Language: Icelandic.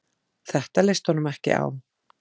Þetta leist honum ekki á.